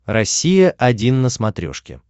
россия один на смотрешке